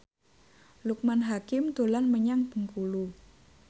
Loekman Hakim dolan menyang Bengkulu